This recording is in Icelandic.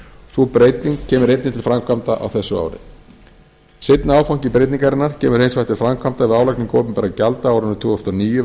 sú breyting kemur einnig til framkvæmda á þessu ári seinni áfangi breytingarinnar kemur hins vegar til framkvæmda við álagningu opinberra gjalda á árinu tvö þúsund og níu